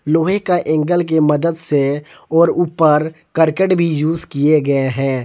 लोहे का एंगल के मदत से और ऊपर करकट भी यूज किए गए हैं।